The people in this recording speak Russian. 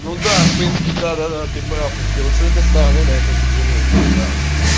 ну да в принципе да да ты прав если вот с этой стороны на это взглянуть ты прав